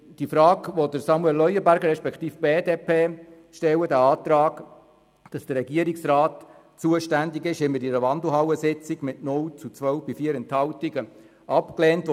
Den Antrag der BDP haben wir in einer Wandelhallensitzung mit 0 zu 12 Stimmen bei 4 Enthaltungen abgelehnt.